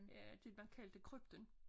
Ja det man kaldte krypten